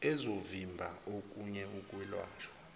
ezovimba okunye ukwelashwa